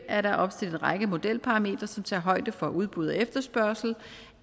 er der opstillet en modelparametre som tager højde for udbud og efterspørgsel